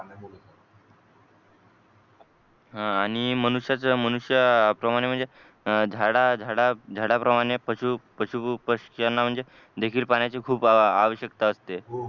हा आणि मनुष्य मनुष्या प्रमाणे म्हणजे झाडा झाडा झाडाप्रमाणे म्हणजे पशु पशु पशुपक्ष्यांना म्हणजे देखील पाण्याची खूप आवश्यकता असते